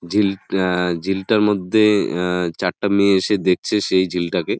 ঝিল আ- ঝিলতর মধ্যে আ-চারটা মেয়ে এসে দেখছে সেই ঝিল তাকে ।